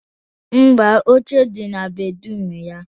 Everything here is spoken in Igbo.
Mba, oche dị na bedruum ya